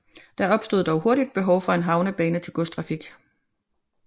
Der opstod dog hurtigt behov for en havnebane til godstrafik